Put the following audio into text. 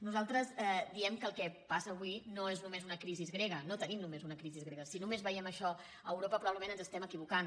nosaltres diem que el que passa avui no és només una crisi grega no tenim només una crisi grega si només veiem això a europa probablement ens estem equivocant